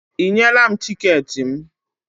Ị nyela m tiketi m?